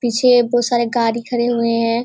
पीछे बहुत सारे गाड़ी खड़े हुए है।